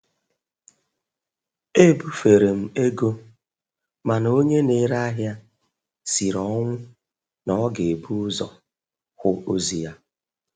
E bufere m ego, mana onye na-ere ahịa siri ọnwụ na ọ ga-ebu ụzọ hụ ozi ya.